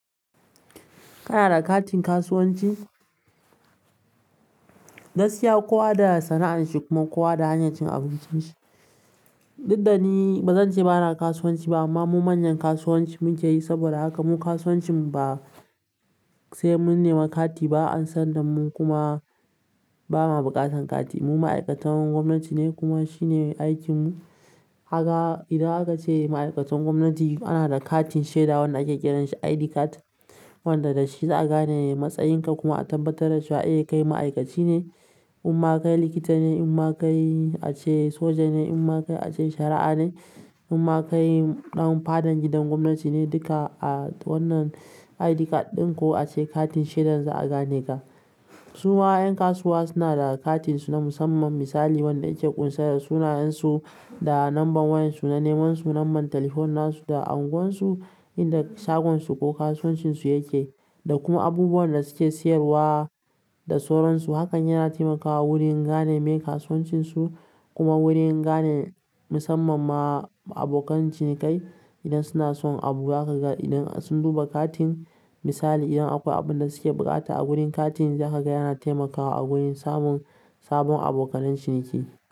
Kana da katin kasuwanci? Gaskiya kowa da sana'arshi kuma kowa da hanyar abincinshi. Daddani bazance bana kasuwanci ba amma mun manyan kasuwanci muke yi saboda haka mun kasuwancin ba sai mun nema kati ba an san da mun kuma bamu bukatan kati. Mu ma'aikatan gwamnati ne kuma shine aikin mu. Kaga idan aka ce ma'aikatan gwamnati ana da katin shaida wanda ake kiranshi ID card wanda dashi za'a gane matsayin ka kuma a tabbatar da cewa. E kai ma'aikaci ne, umma kai likita ne, umma kai ace soja ne, umma kai ace shara'a ne, umma kai ɗan fadan gidan gwamnati ne duka a wannan ID card ɗin ko ace katin shaidar za'a gane ka. Su ma 'yan kasuwa suna da katin su na musamman misali wanda yake ƙunsar da sunayen su da number wayan su na neman su, number telephone na su da unguwar su inda shagon su ko kasuwancin su yake da kuma abubuwan da suke siyarwa da sauron su. Hakan yana taimakawa wurin gane meye kasuwancin su kuma wurin gane musamman ma abokan cinikai idan suna son abu zaka ga idan sun duba katin misali idan akwai abunda suke bukata a gurin katin zaka ga yana taimakawa a wurin samun sabon abokan ciniki.